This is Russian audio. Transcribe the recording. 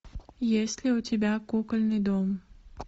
есть ли у тебя кукольный дом